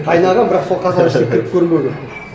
қайнағанмын бірақ сол қазанның ішіне кіріп көрмегенмін